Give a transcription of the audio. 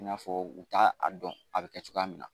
I n'a fɔ u k'a dɔn a bɛ kɛ cogoya min na